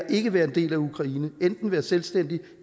ikke at være en del af ukraine og enten være selvstændig